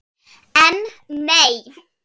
En, nei.